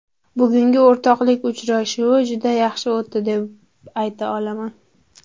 Bugungi o‘rtoqlik uchrashuvi juda yaxshi o‘tdi deb ayta olaman.